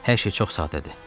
Hər şey çox sadədir.